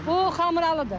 Bu xamralıdır.